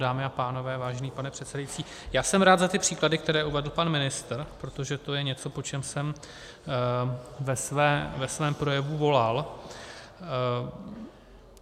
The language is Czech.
Dámy a pánové, vážený pane předsedající, já jsem rád za ty příklady, které uvedl pan ministr, protože to je něco, po čem jsem ve svém projevu volal.